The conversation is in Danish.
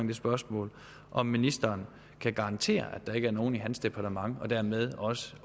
det spørgsmål om ministeren kan garantere at der ikke er nogen i hans departement og dermed også